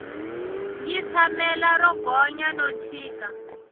yi tshamela ro gonya no chika